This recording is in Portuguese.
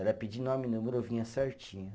Era pedir nome e número, vinha certinho.